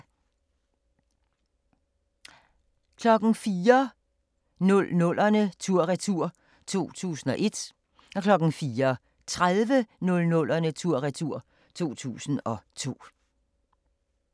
04:00: 00'erne tur-retur: 2001 04:30: 00'erne tur-retur: 2002